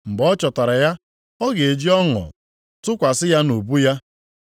Mgbe ọ chọtara ya, ọ ga-eji ọṅụ tụkwasị ya nʼubu ya.